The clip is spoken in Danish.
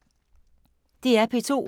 DR P2